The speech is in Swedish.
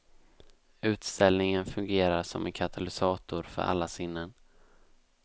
Utställningen fungerar som en katalysator för alla sinnen.